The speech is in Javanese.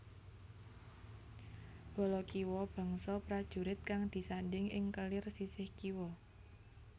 Bala kiwa bangsa prajurit kang disandhing ing kelir sisih kiwa